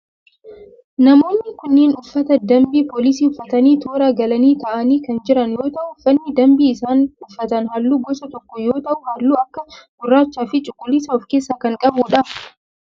Namoonni kunneen uffata dambii poolisii uffatanii toora galanii taa'anii kan jiran yoo ta'u uffanni dambii isaan uffatan halluu gosa tokko yoo ta'u halluu akka gurraachaa fi cuquliisa of keessaa kan qabudha.